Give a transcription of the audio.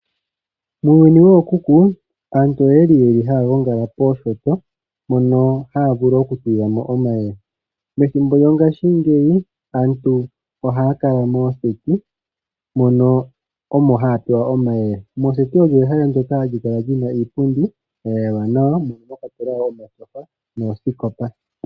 Muuyuni wookuku aantu oya li yeli haya gongala pooshoto mono haya vulu oku tulilwa mo omayele. Methimbo lyongaashingeyi aantu ohaya kala mooseti mono omo haya pelwa omayele. Mooseti olyo ehala ndoka hali kala li na iipundi ya yalwa nawa mono mwa kwatelwa wo omatyofa noosikopa.